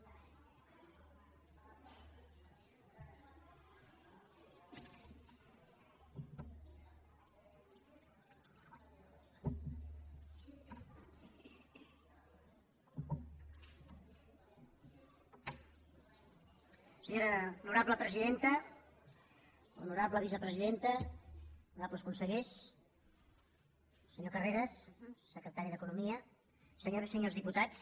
honorable vicepresidenta honorables consellers senyor carreras secretari d’economia senyores i senyors diputats